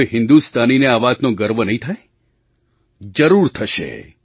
શું કોઈ હિન્દુસ્તાનીને આ વાતનો ગર્વ નહીં થાય જરૂર થશે